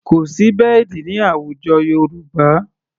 Kò sí bẹ́ẹ̀dì ní àwùjọ Yorùbá.